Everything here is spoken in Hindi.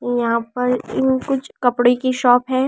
यहां पर इन कुछ कपड़े की शॉप है ।